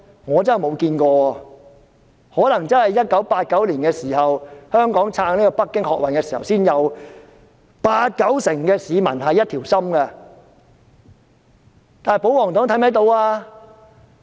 我真的未看過，可能在1989年，香港撐北京學運時才看到八九成市民是一條心的，但保皇黨是否看得到呢？